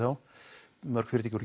mörg fyrirtækjanna